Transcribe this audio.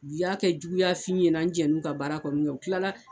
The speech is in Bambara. U y'a kɛ juguyafin n na n jɛnn'u ka baara kɔ min kɛ u kilala